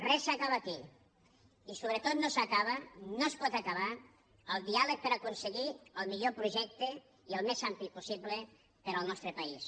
res s’acaba aquí i sobretot no s’acaba no es pot acabar el diàleg per aconseguir el millor projecte i al més ampli possible per al nostre país